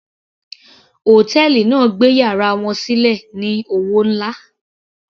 Hòtẹ́ẹ̀lì náà gbé yàrá wọn sílẹ̀ ní owó nlá.